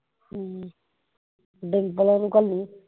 ਹਮ ਡਿੰਪਲ ਹੁਣਾ ਨੂੰ ਘੱਲੀ